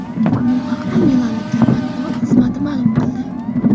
Bu haqda milanliklar matbuot xizmati ma’lum qildi .